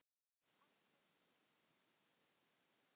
Alltaf blíð.